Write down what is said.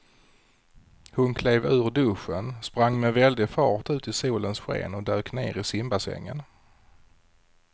Hon klev ur duschen, sprang med väldig fart ut i solens sken och dök ner i simbassängen.